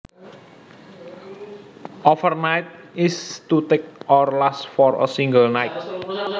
Overnight is to take or last for a single night